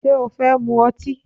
Ṣé o fẹ́ mu ọtí?